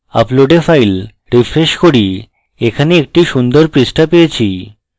upload a file refresh করি এখানে একটি সুন্দর পৃষ্ঠা পেয়েছি